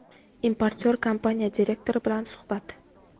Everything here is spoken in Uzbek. Importyor kompaniya direktori bilan suhbat.